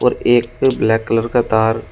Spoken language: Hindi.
एक पे ब्लैक कलर का तार--